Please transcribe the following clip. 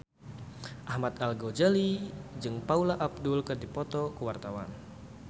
Ahmad Al-Ghazali jeung Paula Abdul keur dipoto ku wartawan